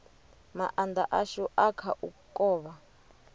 maanda ashu a kha u kovha